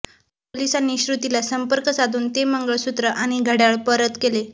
पोलिसांनी श्रुतीला संपर्क साधून ते मंगळसूत्र आणि घड्याळ परत केले